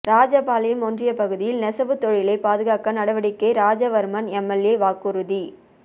ராஜபாளையம் ஒன்றிய பகுதியில் நெசவுத்தொழிலை பாதுகாக்க நடவடிக்கை ராஜவர்மன் எம்எல்ஏ வாக்குறுதி